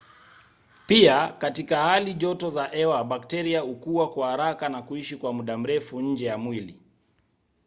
pia katika hali joto za hewa bakteria hukua kwa haraka na kuishi kwa muda mrefu nje ya mwili